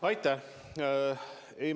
Aitäh!